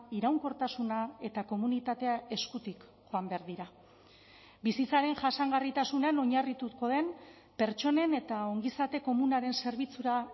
iraunkortasuna eta komunitatea eskutik joan behar dira bizitzaren jasangarritasunean oinarrituko den pertsonen eta ongizate komunaren zerbitzura